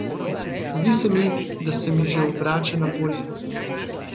Zdi se mi, da se mi že obrača na bolje.